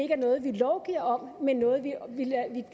er noget vi lovgiver om men noget vi lader